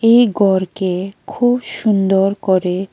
এই ঘরকে খুব সুন্দর করে--